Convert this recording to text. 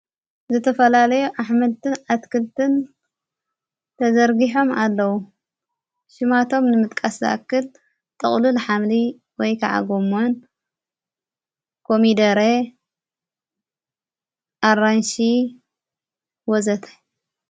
ዘተፈላለዩ ኣኅመልትን ኣትክልትን ተዘርጊሖም ኣለዉ ሽማቶም ንምጥቃሳክል ጥቕሉል ኃምሊ ወይ ከዓ ጐምን ኮሚደሬ ኣራንሽ ወዘተ።